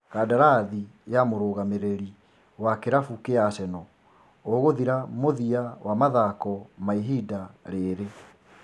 Kandarathi ya mũrũgamĩrĩri wa kĩrabu kĩa Arsenal ũgũthira mũthia wa mathako ma ihinda rĩrĩ